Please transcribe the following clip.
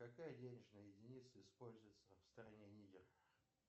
какая денежная единица используется в стране нигер